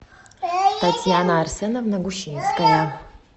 татьяна арсеновна гущинская